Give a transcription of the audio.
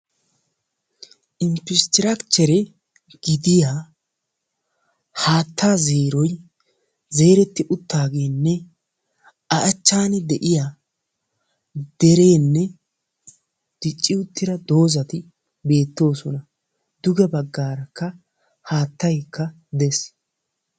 Infistraakichere gidiyaa haattaa zeeroy zretti uttaagenne a achchan de'iyaa dereenne dicci uttida doozati bettoosona. duge baggarakka haattay dees.